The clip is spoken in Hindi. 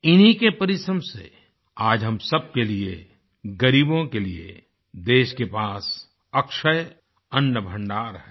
इन्हीं के परिश्रम से आज हम सबके लिए गरीबों के लिए देश के पास अक्षय अन्नभण्डार है